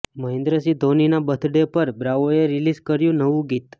મહેન્દ્ર સિંહ ધોનીના birthday પર બ્રાવોએ રિલીઝ કર્યું નવું ગીત